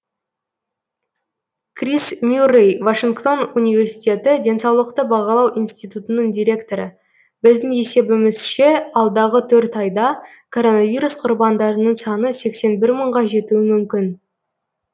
крис мюррэй вашингтон университеті денсаулықты бағалау институтының директоры біздің есебізімзше алдағы төрт айда коронавирус құрбандарының саны сексен бір мыңға жетуі мүмкін